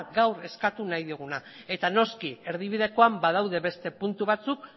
gaur eskatu nahi dioguna eta noski erdibidekoan badaude beste puntu batzuk